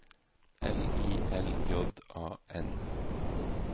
L I L J A N